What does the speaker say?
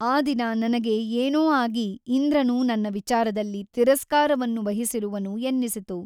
ಆ ದಿನ ನನಗೆ ಏನೋ ಆಗಿ ಇಂದ್ರನು ನನ್ನ ವಿಚಾರದಲ್ಲಿ ತಿರಸ್ಕಾರವನ್ನು ವಹಿಸಿರುವನು ಎನ್ನಿಸಿತು.